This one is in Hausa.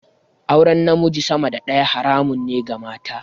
Auren namiji sama da daya haramun ne ga mata.